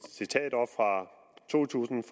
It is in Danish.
citat op fra to tusind